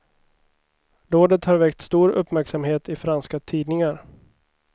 Dådet har väckt stor uppmärksamhet i franska tidningar.